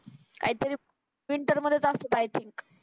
काहीतरी प्रिंटर म्हणत असतं काहीतरी